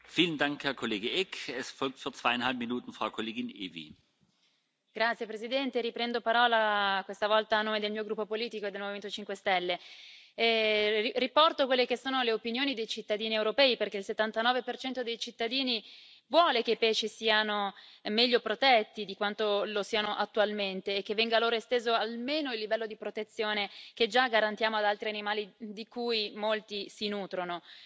Signor Presidente, onorevoli colleghi, riprendo la parola questa volta a nome del mio gruppo politico e del Movimento 5 stelle. Riporto le opinioni dei cittadini europei, perché il 79 dei cittadini vuole che i pesci siano meglio protetti di quanto lo siano attualmente e che venga loro esteso almeno il livello di protezione che già garantiamo ad altri animali di cui molti si nutrono.